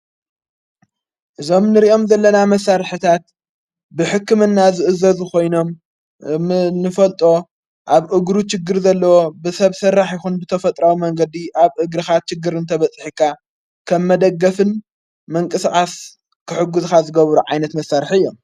እዞም ንርእኦም ዘለና መሣርሕታት ብሕክምና ዝእዘዝ ኾይኖም ንፈልጦ ኣብ እግሩ ጭግር ዘለዎ ብሰብ ሠራሕ ይኹን ብተፈጥራዊ መንገዲ ኣብ እግርኻ ችግር እንተ በፂሒካ ከም መደገፍን መንቂስቓስ ክሕጕዝኻ ዝገቡሩ ዓይነት መሣርሕ እዮም።